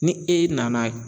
Ni e nana